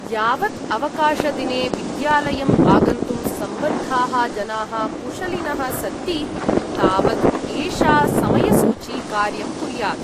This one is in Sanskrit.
यावत् अवकाशदिने विद्यालयम् आगन्तुं सम्बद्धाः जनाः कुशलिनः सन्ति तावत् ए्षा समयसूची कार्यं कुर्यात्।